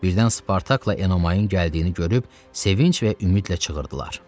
Birdən Spartakla Enomayın gəldiyini görüb sevinc və ümidlə çığırdılar.